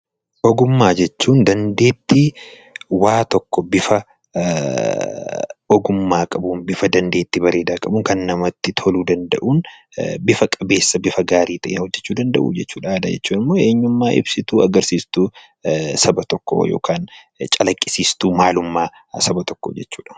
Ogummaa jechuun dandeettii waa tokko bifa ogummaa qabuun, bifa dandeettii bareedaa qabuun Kan namatti toluu danda'un, bifa qabeessa, bifa gaarii ta'een hojjechuu danda'uu jechuudha. Aadaa jechuun immoo eenyummaa ibsituu agarsiistuu Saba tokkoo yookaan calaqisiistuu maalummaa Saba tokkoo jechuudha.